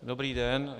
Dobrý den.